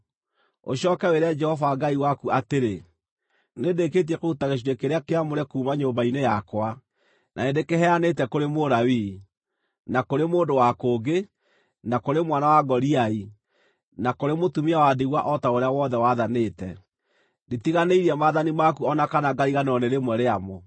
Ũcooke wĩre Jehova Ngai waku atĩrĩ, “Nĩndĩkĩtie kũruta gĩcunjĩ kĩrĩa kĩamũre kuuma nyũmba-inĩ yakwa, na nĩ ndĩkĩheanĩte kũrĩ Mũlawii, na kũrĩ mũndũ wa kũngĩ, na kũrĩ mwana wa ngoriai, na kũrĩ mũtumia wa ndigwa o ta ũrĩa wothe wathanĩte. Nditiganĩirie maathani maku o na kana ngariganĩrwo nĩ rĩmwe rĩamo.